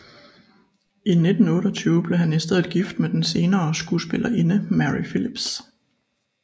I 1928 blev han i stedet gift med den senere skuespillerinde Mary Philips